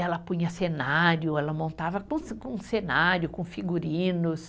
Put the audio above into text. Ela punha cenário, ela montava com se, com cenário, com figurinos.